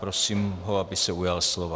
Prosím ho, aby se ujal slova.